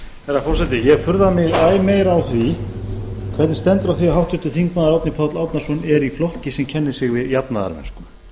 herra forseti ég furða mig æ meira á því hvernig stendur á því að háttvirtur þingmaður árni páll árnason er í flokki sem kennir sig við jafnaðarmennsku